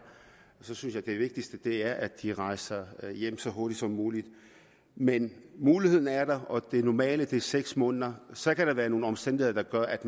synes jeg det vigtigste er at de rejser hjem så hurtigt som muligt men muligheden er der og det normale er seks måneder så kan der være nogle omstændigheder der gør at